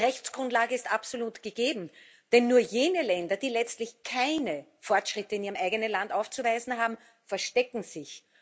Die Rechtsgrundlage ist absolut gegeben, denn nur jene Länder, die letztlich keine Fortschritte in ihrem eigenen Land aufzuweisen haben, verstecken sich.